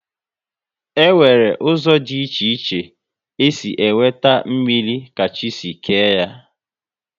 E nwere ụzọ dị iche iche e si enweta mmrir ka chi si kee ya